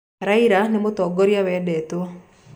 Raila nĩ mũtongoria wendetwo